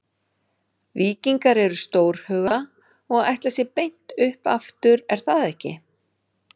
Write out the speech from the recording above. Víkingar eru stórhuga og ætla sér beint upp aftur er það ekki?